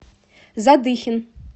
задыхин